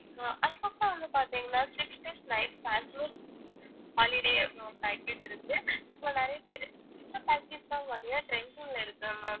so அதுக்கப்புறம் வந்து பாத்திங்கனா six days night holiday அப்படின்னு ஒரு package இருக்கு இப்போ நிறைய பேர் இந்த package தான் பாத்திங்கனா trending ல இருக்கு ma'am